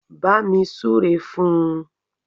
Bámi súre fún un!